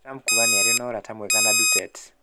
Trump kuuga nĩ arĩ na "ũrata mwega" na Durtete